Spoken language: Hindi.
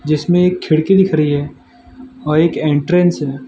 जिसमें एक खिड़की दिख रही है अ एक एंट्रेंस --